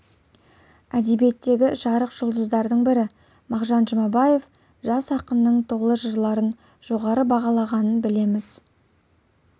әдебиеттегі жарық жұлдыздардың бірі мағжан жұмабаев жас ақынның толы жырларын жоғары бағалағанын білеміз